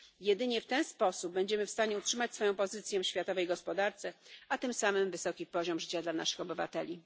Jedynie w ten sposób będziemy w stanie utrzymać swoją pozycję w światowej gospodarce, a tym samym wysoki poziom życia naszych obywateli.